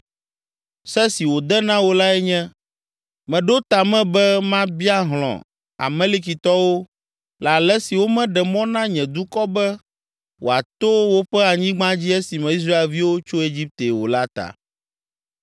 Se si wòde na wò lae nye: ‘Meɖo ta me be mabia hlɔ̃ Amalekitɔwo le ale si womeɖe mɔ na nye dukɔ be wòato woƒe anyigba dzi esime Israelviwo tso Egipte o la ta.